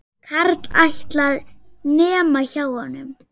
Karl ætlar, nema hjá honum.